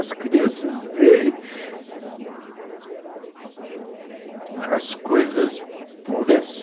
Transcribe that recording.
As crianças veem as coisas puras,